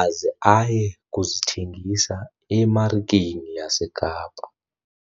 aze aye kuzithengisa emarikeni yaseKapa.